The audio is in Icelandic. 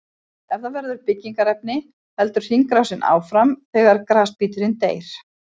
Ef það verður að byggingarefni heldur hringrásin áfram þegar grasbíturinn deyr.